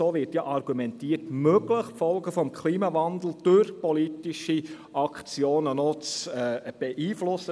Es ist möglich, die Folgen des Klimawandels durch politische Aktionen zu beeinflussen.